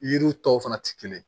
Yiriw tɔw fana tɛ kelen ye